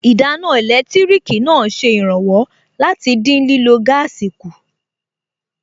Ìdáná ẹlẹtíríkì náà ṣe ìrànwọ́ láti dín lílọ̀ gáàsì kù